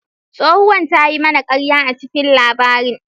Tsohuwar ta yi mana karya a cikin labarin.